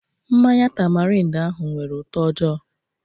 Mmanya tamarind ahụ nwere ụtọ ojoo